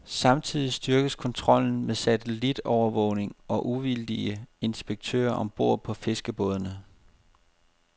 Samtidig styrkes kontrollen med satellitovervågning og uvildige inspektører om bord på fiskerbådene.